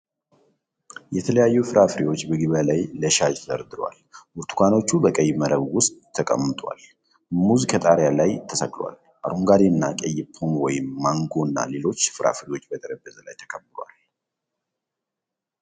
የተለያዩ ፍራፍሬዎች በገበያ ላይ ለሽያጭ ተደርድረዋል። ብርቱካኖች በቀይ መረብ ውስጥ ተቀምጠዋል፣ ሙዝ ከጣሪያ ላይ ተሰቅሏል። አረንጓዴ እና ቀይ ፖም፣ ወይን፣ ማንጎ እና ሌሎች ፍራፍሬዎች በጠረጴዛ ላይ ተከምረዋል።